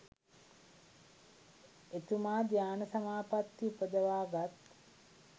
එතුමා ධ්‍යාන සමාපත්ති උපදවා ගත්